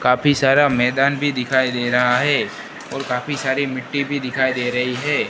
काफी सारा मैदान भी दिखाई दे रहा है और काफी सारी मिट्टी भी दिखाई दे रही है।